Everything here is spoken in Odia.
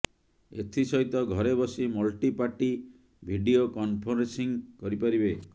ଏଥିସହିତ ଘରେ ବସି ମଲ୍ଟି ପାର୍ଟି ଭିଡିଓ କନ୍ଫେରେନ୍ସିଂ କରିପାରିବେ